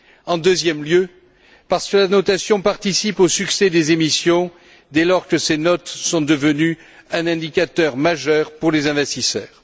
En deuxième lieu, parce que la notation participe au succès des émissions dès lors que ces notes sont devenues un indicateur majeur pour les investisseurs.